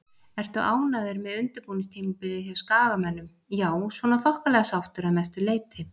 Ertu ánægður með undirbúningstímabilið hjá Skagamönnum? Já svona þokkalega sáttur að mestu leiti.